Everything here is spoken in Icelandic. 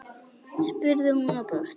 spurði hún og brosti.